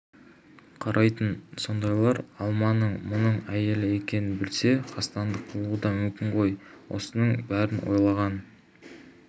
қарайтын сондайлар алманың мұның әйелі екенін білсе қастандық қылуы да мүмкін ғой осының бәрін ойлаған